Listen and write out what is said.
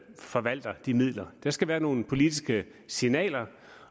forvalter de midler der skal være nogle politiske signaler